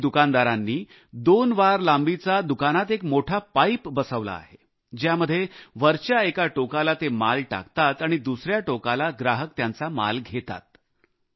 अनेक दुकानदारांनी सहा फुट अंतरावर दुकानात एक मोठा पाइप बसवला आहे ज्यामध्ये वरच्या एका टोकत ते माल टाकतात आणि दुसऱ्या टोकाला ग्राहक त्यांचा माल घेतात